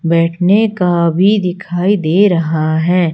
बैठने का भी दिखाई दे रहा है।